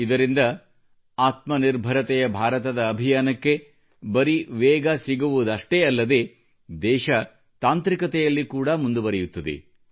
ಇದರಿಂದ ಆತ್ಮನಿರ್ಭರತೆಯ ಭಾರತದ ಅಭಿಯಾನಕ್ಕೆ ಬರೀ ವೇಗ ಸಿಗುವುದಷ್ಟೆ ಅಲ್ಲದೇ ದೇಶವು ತಾಂತ್ರಿಕತೆಯಲ್ಲಿ ಕೂಡ ಮುಂದುವರೆಯುತ್ತದೆ